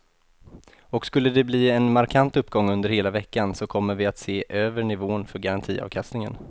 Och skulle de bli en markant uppgång under hela veckan så kommer vi att se över nivån för garantiavkastningen.